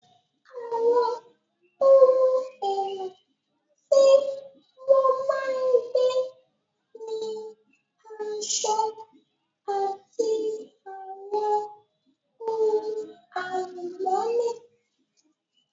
Àwọn ohun èlò tí wọ́n máa ń gbé ni aṣọ, àti àwọn ohun àlùmọ́nì